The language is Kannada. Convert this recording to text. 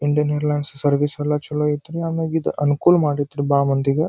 ಇಂಡಿಯನ್ ಏರ್ಲೈನ್ಸ್ ಸರ್ವಿಸಸ್ ಯಲ್ಲ ಚಲೋ ಐತೆ ಆಮೇಲೆ ಇದು ಅನುಕೂಲ ಮಾಡಿದ್ರು ಬಾಲಮಂದಿಗೆ.